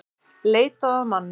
Leitað að manni